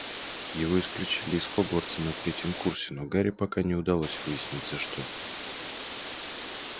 его исключили из хогвартса на третьем курсе но гарри пока не удалось выяснить за что